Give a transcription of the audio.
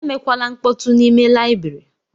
Emekwala nkpọtu n'ime layibiri!